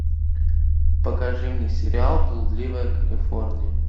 покажи мне сериал блудливая калифорния